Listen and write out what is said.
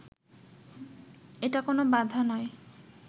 এটা কোনো বাধা নয়